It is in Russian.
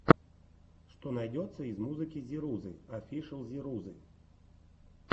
что найдется из музыки зирузы офишэл зирузы